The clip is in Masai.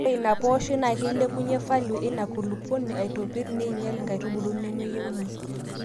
Naa ore ina pooshoi naa keilepunyie falio eina kulupuoni aitopirr neinyial nkaitubulu nemeyieuni.